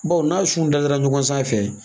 Bawo n'a sun dadara ɲɔgɔn sanfɛ